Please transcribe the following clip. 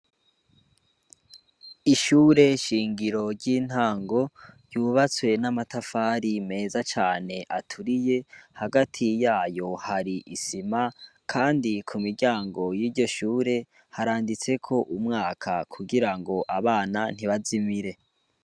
Ishure shingiro ry'intango ryubatswe n'amatafari meza cane aturiye hagati yayo hari isima kandi kumuryango yiryo shure haranditseko umwaka kugira ngo abana ntibazimire